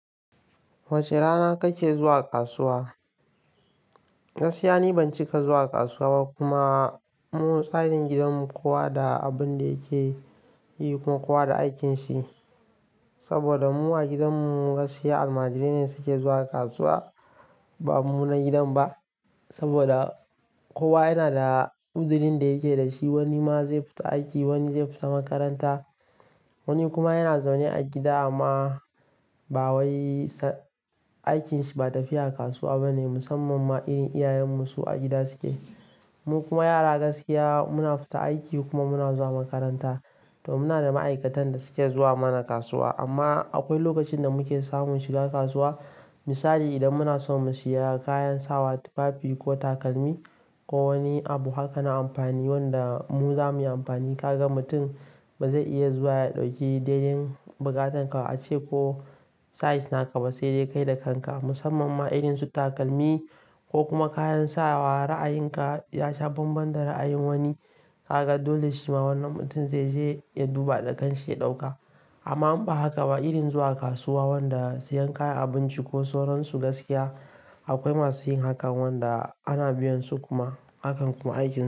Wace rana kake zuwa kasuwa? Gaskiya ni ban cika zuwa kasuwa ba kuma mu tsarin gidanmu kowa da abin da yake yi kuma kowa da aikinsa. Saboda mu a gidanmu gaskiya almajirai ne suke zuwa kasuwa ba mu na gidan ba. Saboda kowa yana da uzirin da yake da shi, wani ma zai fita aiki, wani zai fita makaranta, wani kuma yana zaune a gida amma ba wai sa aikinsa ba tafiya kasuwa bane musamman ma irin iyayenmu su a gida suke. Mu kuma yara gaskiya muna fita aiki kuma muna zuwa makaranta. To muna da ma'aikatan da suke zuwa mana kasuwa amma akwai lokacin da muke samun shiga kasuwa. Misali idan muna so mu sayi kayan sawa, tufafi ko takalmi ko wani abu haka na amfani wanda mu zamuyi amfani. Ka ga mutum ba zai iya zuwa ya ɗauki dai dai rigar danka ace ko size naka ba sai dai kai da kanka musamman ma irin su takalmi ko kuma kayan sawa. Ra'ayinka ya sha bambam da ra'ayin wani. Ka ga dole shi ma wannan mutum zai je ya duba da kanshi ya ɗauka. Amma in ba haka ba irin zuwa kasuwa wanda siyan kayan abinci ko soron su gaskiya akwai masu yin hakan wanda ana biyan su kuma hakan kuma aiki suke.